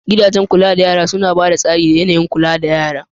Gidajen kula da yAna suna ba da tsari da yAnayin kulawa ga yara